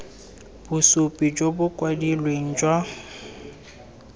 bosupi jo bo kwadilweng jwa